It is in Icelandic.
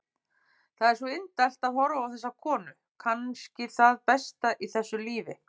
Það er svo indælt að horfa á þessa konu, kannski það besta í þessu lífi.